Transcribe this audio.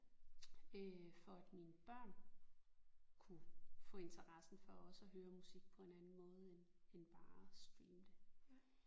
Øh for at mine børn kunne få interessen for også at høre musik på en anden måde end end bare at streame det